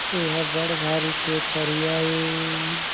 एह बढ़ भारी के तरिया ए--